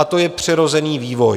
A to je přirozený vývoj.